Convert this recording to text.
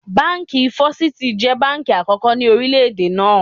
Báńkì Fọ́sítì jẹ́ báńkì àkókò ni orílẹ̀ náà.